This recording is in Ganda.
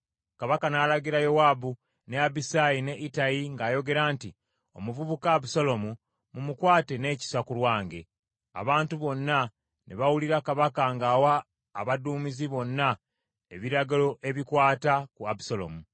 Kabaka n’alagira Yowaabu, ne Abisaayi ne Ittayi ng’ayogera nti, “Omuvubuka Abusaalomu mumukwate n’ekisa ku lwange.” Abantu bonna ne bawulira kabaka ng’awa abaduumizi bonna ebiragiro ebikwata ku Abusaalomu.